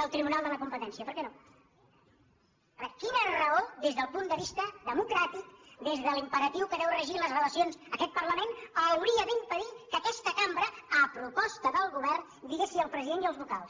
del tribunal de la competència per què no a veure quina raó des del punt de vista democràtic des de l’imperatiu que ha de regir les relacions aquest parlament hauria d’impedir que aquesta cambra a proposta del govern digués sí al president i als vocals